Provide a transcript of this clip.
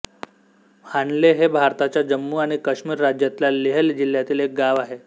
हानले हे भारताच्या जम्मू आणि काश्मीर राज्यातल्या लेह जिल्ह्यातील एक गाव आहे